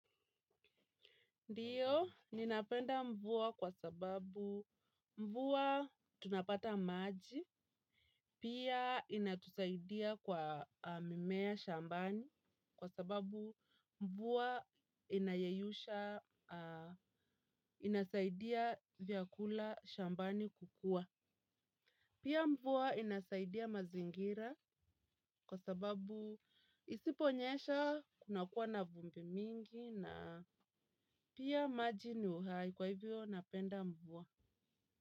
Ndiyo, ninapenda mvua kwa sababu mvua tunapata maji, pia inatusaidia kwa mimea shambani kwa sababu mvua inayeyusha, inasaidia vyakula shambani kukua. Pia mvua inasaidia mazingira kwa sababu isiponyesha kuna kuwa na vumbi mingi na pia maji ni uhai kwa hivyo napenda mvua.